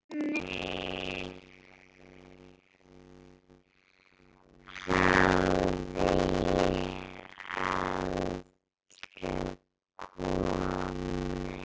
Þangað hafði ég aldrei komið.